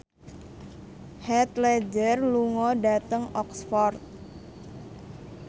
Heath Ledger lunga dhateng Oxford